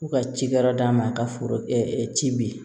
K'u ka ci kɛ yɔrɔ d'a ma a ka foro ci bin